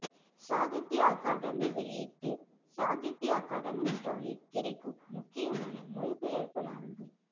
சாகித்ய அகாதமி வெளியிட்டு சாகித்ய அகாதமி ஸ்டாலில் கிடைக்கும் முக்கியமான மொழிபெயர்ப்பு நாவல்கள்